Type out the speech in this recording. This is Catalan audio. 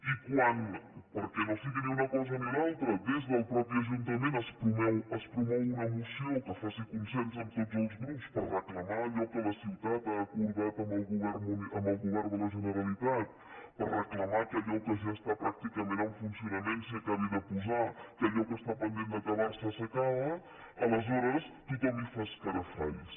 i quan perquè no sigui ni una cosa ni l’altra des del mateix ajuntament es promou una moció que faci consens amb tots els grups per reclamar allò que la ciutat ha acordat amb el govern de la generalitat per reclamar que allò que ja està pràcticament en funcionament s’hi acabi de posar que allò que està pendent d’acabar se s’acabi aleshores tothom hi fa escarafalls